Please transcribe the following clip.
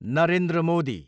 Narendra Modi